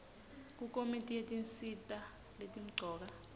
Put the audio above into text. kukomiti yetinsita letimcoka